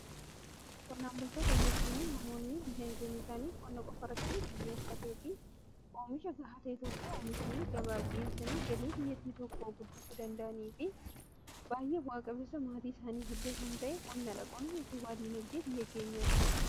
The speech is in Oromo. Qonnaan bultoota jechuun namoonni dinagdeen isaanii qonna qofarratti xiyyeeffatee fi oomisha gaha ta'e tokko oomishanii gabaaf dhiyeessanii galii biyyattii tokkoo guddisuu danda'anii fi baay'ee bu'aa qabeessa maatii isaaniifillee kan ta'e qonna dha. qonni utubaa diinagdee biyya keenyaati.